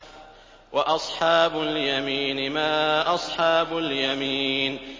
وَأَصْحَابُ الْيَمِينِ مَا أَصْحَابُ الْيَمِينِ